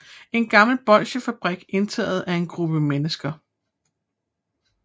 En gammel bolsjefabrik indtaget af en gruppe mennesker